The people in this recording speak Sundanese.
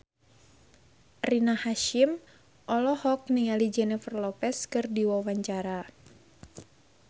Rina Hasyim olohok ningali Jennifer Lopez keur diwawancara